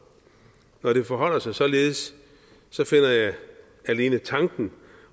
når det forholder sig således finder jeg alene tanken